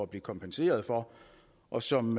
blive kompenseret for og som